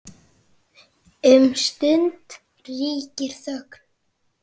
Um stund ríkir þögn.